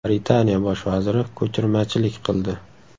Britaniya bosh vaziri ko‘chirmachilik qildi.